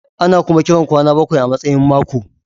Ana kuma kiran kwana bakwai a matsayin mako.